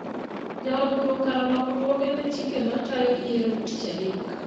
Jood bura okalo lokruoge ne chike ma tayo yiero tich adek